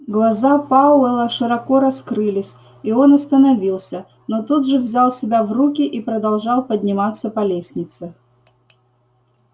глаза пауэлла широко раскрылись и он остановился но тут же взял себя в руки и продолжал подниматься по лестнице